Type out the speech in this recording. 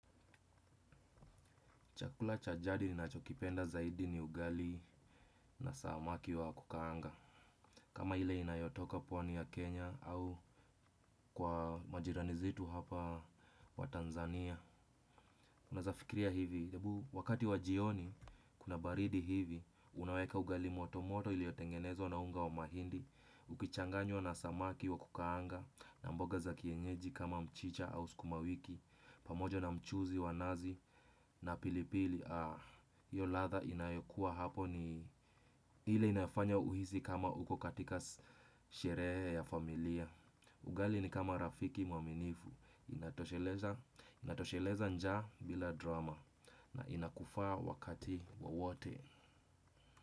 Chakula cha jadi ninachokipenda zaidi ni ugali na samaki wa kukaanga. Kama ile inayotoka pwani ya Kenya au kwa majirani zitu hapa wa Tanzania. Unaeza fikiria hivi, wakati wa jioni kuna baridi hivi. Unaweka ugali motomoto ilio tengenezwa na unga wa mahindi. Ukichanganywa na samaki wa kukaanga na mboga za kienyeji kama mchicha au skumawiki pamoja na mchuzi wa nazi na pilipili. Hiyo latha inayokuwa hapo ni ile inafanya uhisi kama uko katika sherehe ya familia. Ugali ni kama Rafiki Mwaminifu. Inatosheleza njaa bila drama. Na inakufaa wakati wowote.